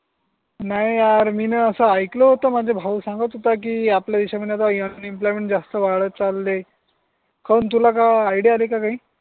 नाही यार मीन अस आयकल होत माझा भाऊ सांगत होता की आपल्या देशामध्ये आता अन एम्प्लॉयमेंट जास्त वाटत चाले काऊन तुला काही आयडिया आली का काही